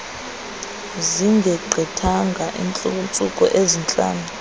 zingegqithanga iintsuku ezintlanu